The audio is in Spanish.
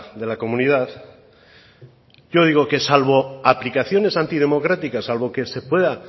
de la comunidad yo digo que salvo aplicaciones antidemocráticas salvo que se pueda